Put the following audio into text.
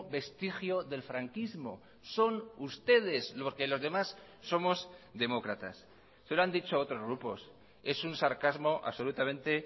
vestigio del franquismo son ustedes porque los demás somos demócratas se lo han dicho otros grupos es un sarcasmo absolutamente